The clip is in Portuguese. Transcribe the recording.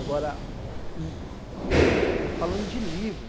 Agora, falando de livros,